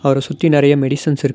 அவர சுத்தி நெறையா மெடிசின்ஸ் இருக்--